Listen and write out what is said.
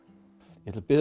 ég ætla að biðja